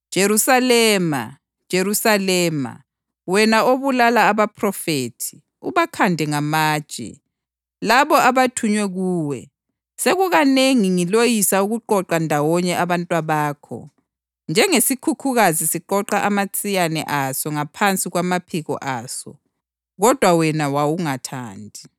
Jerusalema, Jerusalema, wena obulala abaphrofethi, ubakhande ngamatshe labo abathunywe kuwe, sekukanengi ngiloyisa ukuqoqa ndawonye abantwabakho, njengesikhukhukazi siqoqa amatsiyane aso ngaphansi kwamaphiko aso, kodwa wena wawungathandi.